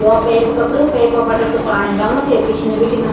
यौ पेप पकडयूं पेप बटे सो पाणी डलनू ते पिछने बीटीन।